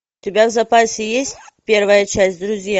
у тебя в запасе есть первая часть друзья